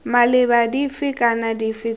maleba dife kana dife tse